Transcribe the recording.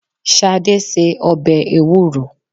Ṣadé se ọbẹ̀ Ewúro.